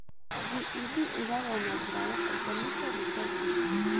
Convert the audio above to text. JEB ĩigagwo na njĩra ya autosomal recessive.